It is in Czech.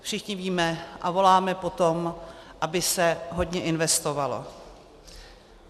Všichni víme a voláme po tom, aby se hodně investovalo.